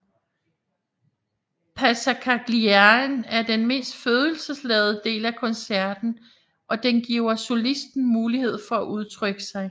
Passacagliaen er den mest følelsesladede del af koncerten og den giver solisten mulighed for at udtrykke sig